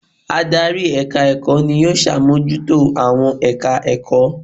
Adarí èka ẹ̀kọ́ ni ó sàmójútó àwọn èka ẹ̀kọ́